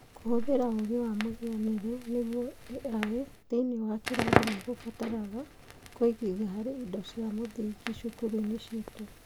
Kũhũthĩra ũũgĩ wa mũhianĩre (AI) thĩinĩ wa kĩrathi nĩ kũbataraga kũigithia harĩ indo cia mũthingi cũkũrũ-inĩ citũ